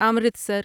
Amritsar